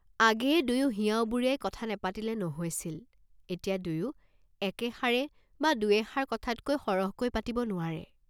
আগেয়ে দুয়ো হিয়া উবুৰিয়াই কথা নেপাতিলে নহৈছিল, এতিয়া দুয়ো একেষাৰ বা দুৱেষাৰ কথাতকৈ সৰহকৈ পাতিব নোৱাৰে।